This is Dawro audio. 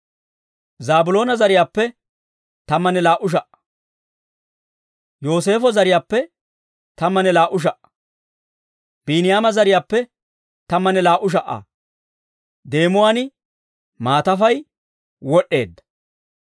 Zaabiloona zariyaappe, tammanne laa"u sha"aa. Yooseefo zariyaappe, tammanne laa"u sha"aa. Biiniyaama zariyaappe, tammanne laa"u sha"aa deemuwaan maatafay, wod'd'eedda.